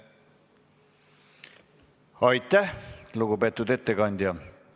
Aitäh, lugupeetud ettekandja!